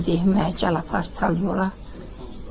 Yenə deyim gəl apar çək yola.